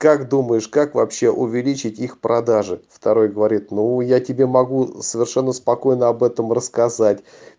как думаешь как вообще увеличить их продажи второй говорит ну я тебе могу совершенно спокойно об этом рассказать